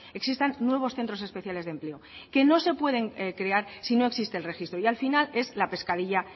existan nuevos centros especiales de empleo que no se pueden crear si no existe el registro y al final es la pescadilla